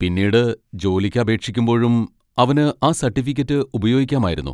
പിന്നീട് ജോലിക്ക് അപേക്ഷിക്കുമ്പോഴും അവന് ആ സർട്ടിഫിക്കറ്റ് ഉപയോഗിക്കാമായിരുന്നു.